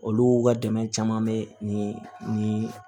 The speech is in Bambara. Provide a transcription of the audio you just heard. Olu ka dɛmɛ caman bɛ ni ni